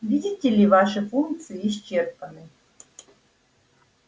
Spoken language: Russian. видите ли ваши функции исчерпаны